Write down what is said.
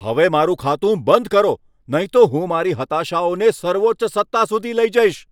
હવે મારું ખાતું બંધ કરો, નહીં તો હું મારી હતાશાઓને સર્વોચ્ચ સત્તા સુધી લઈ જઈશ.